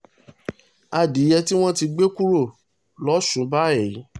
adìẹ́ tí wọ́n ti gbé kúrò lọ́sùn báyìí